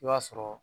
I b'a sɔrɔ